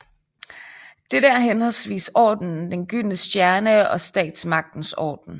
Dette er henholdsvis Ordenen den gyldne stjerne og Statsmagtens orden